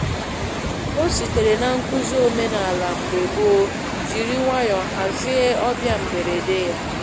O sitere na nkụzi omenala mgbe gboo, jiri nwayọ hazie ọbịa mgberede yá.